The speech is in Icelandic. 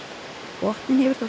botninn hefur þó